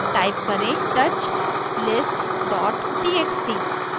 type करें: touch list txt